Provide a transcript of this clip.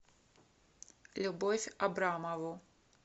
любовь абрамову